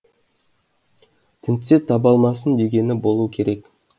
тінтсе таба алмасын дегені болу керек